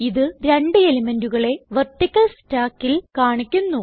ഇത് രണ്ട് എലിമെന്റുകളെ വെർട്ടിക്കൽ stackൽ കാണിക്കുന്നു